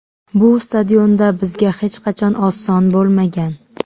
Bu stadionda bizga hech qachon oson bo‘lmagan.